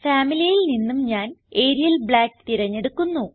Familyയിൽ നിന്നും ഞാൻ Arial Black തിരഞ്ഞെടുക്കുന്നു